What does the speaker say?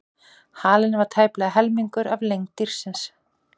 Halinn var tæplega helmingur af lengd dýrsins.